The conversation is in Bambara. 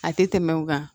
A tɛ tɛmɛ o kan